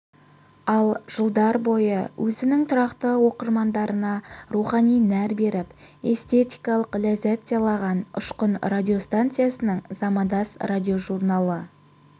ал жылдар бойы өзінің тұрақты тыңдармандарына рухани нәр беріп эстетикалық ләззат сыйлаған ұшқын радиостанциясының замандас радиожурналы